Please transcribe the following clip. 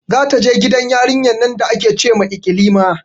Za ta je gidan yarinyar nan da ake ce ma ikilima